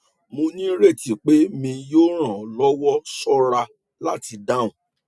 mo nireti pe mi yoo ran ọ lọwọ ṣọra lati dahun